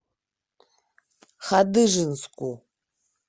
хадыженску